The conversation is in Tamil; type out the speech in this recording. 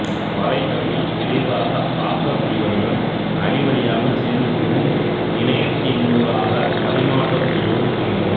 வரைகலையை விரைவாக ஆக்க முடிவதுடன் அழிவடையாமல் சேமிக்கவும் இணையத்தினூடாக பரிமாற்றம் செய்யவும் முடிகின்றது